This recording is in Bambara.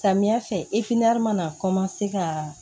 Samiya fɛ mana ka